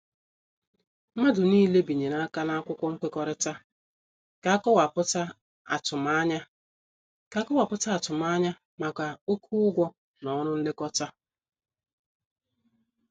Mmadụ niile binyere aka na akwụkwọ nwekorita ka- akowaputa atumanya ka- akowaputa atumanya maka oké ụgwọ na ọrụ nlekọta.